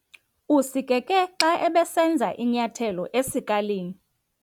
Usikeke xa ebesenza inyathelo esikalini.